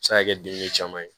Se ka kɛ dengu caman ye